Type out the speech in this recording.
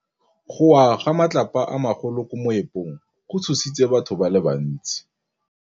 Go wa ga matlapa a magolo ko moepong go tshositse batho ba le bantsi.